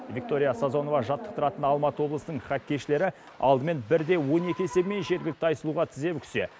виктория сазонова жаттықтыратын алматы облысының хоккейшілері алдымен бір де он екі есебімен жергілікті айсұлуға тізе бүксе